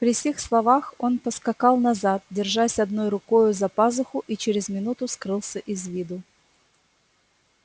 при сих словах он поскакал назад держась одной рукою за пазуху и через минуту скрылся из виду